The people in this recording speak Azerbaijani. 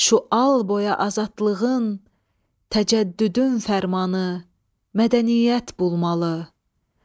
Şu al-boya azadlığın, təcəddüdün fərmanı mədəniyyət bulmalı.